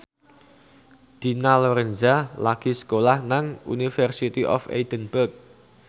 Dina Lorenza lagi sekolah nang University of Edinburgh